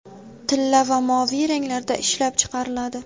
tilla va moviy ranglarda ishlab chiqariladi.